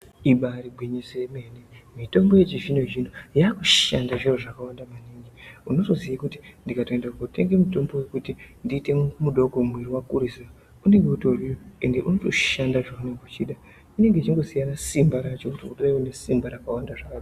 Ibari gwinyiso yemene mitombo yechizvino zvino yakushande zviro zvakwanda maningi unotoziye kuti ndikatoende kotenge mutombo wokuti ndiite mudoko muwiri wakurisa unenge utoriyo ende unotoshanda zvaunenge uchida unenge uchingosiyana simba racho reune simba rakawanda zvakadini.